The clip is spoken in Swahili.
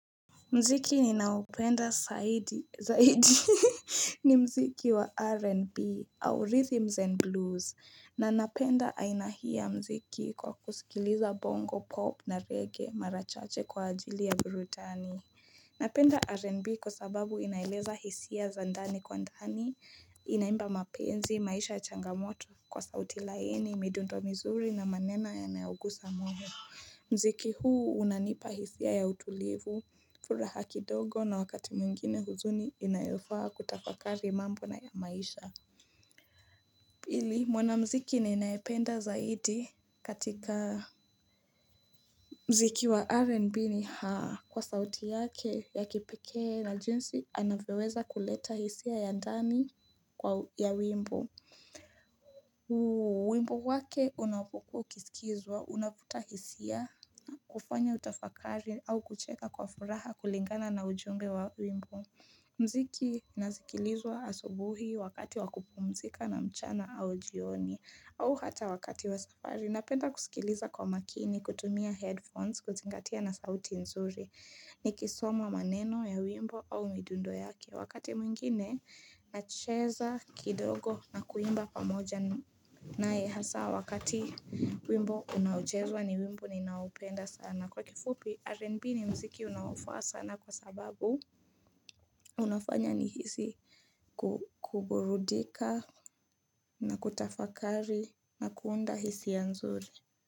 Muziki ni naopenda zaidi ni mziki wa R&B au Rhythms and Blues na napenda aina hii ya muziki kwa kusikiliza bongo, pop na reggae mara chache kwa ajili ya burudani Napenda R&B kwa sababu inaeleza hisia za ndani kwa ndani Inaimba mapenzi, maisha ya changamoto kwa sauti laini, midundo mizuri na maneno yanayogusa moyo Muziki huu unanipa hisia ya utulivu furaha kidogo na wakati mwingine huzuni inayofaa kutafakari mambo na maisha Pili mwana mziki ninayependa zaidi katika Muziki wa RNB ni haa kwa sauti yake ya kipekee na jinsi anavyoweza kuleta hisia ya ndani ya wimbo wimbo wake unapokua ukisikizwa unavuta hisia kufanya utafakari au kucheka kwa furaha kulingana na ujumbe wa wimbo Muziki nasikilizwa asubuhi wakati wakupumzika na mchana au jioni au hata wakati wa safari Napenda kusikiliza kwa makini, kutumia headphones, kuzingatia na sauti nzuri Nikisoma maneno ya wimbo au midundo yake Wakati mwingine, nacheza kidogo na kuimba pamoja naye hasa Wakati wimbo unaochezwa ni wimbo ninaoupenda sana kwa kifupi, RNB ni muziki unaofaa sana kwa sababu unafanya nihisi kuburudika na kutafakari na kuunda hisia nzuri.